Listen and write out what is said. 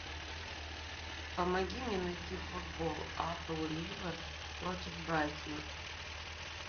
помоги мне найти футбол апл ливер против брайтона